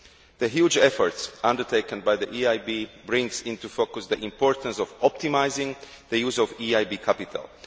The huge efforts undertaken by the EIB bring into focus the importance of optimising the use of EIB capital.